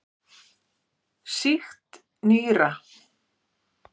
Sýkt nýra.